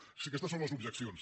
o sigui aquestes són les objeccions